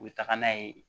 U bɛ taga n'a ye